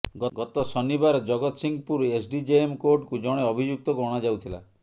ଗତ ଶନିବାର ଜଗତସିଂହପୁର ଏସ୍ଡିଜେଏମ୍ କୋର୍ଟକୁ ଜଣେ ଅଭିଯୁକ୍ତକୁ ଅଣାଯାଉଥିଲା